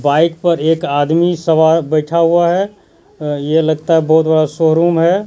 Bike पर एक आदमी सवा बैठा हुआ है यह लगता है बहुत बड़ा शोरूम है।